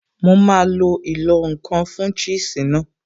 Mo máa lo ìlọ̀-nǹkan fun cheese náà